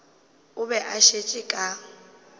o be a šetše ka